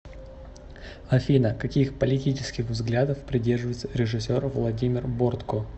афина каких политических взглядов придерживается режисер владимир бортко